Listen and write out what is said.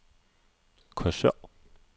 Korsør